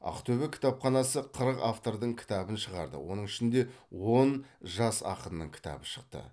ақтөбе кітапханасы қырық автордың кітабын шығарды оның ішінде он жас ақынның кітабы шықты